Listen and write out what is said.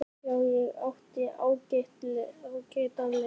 Já, ég átti ágætan leik.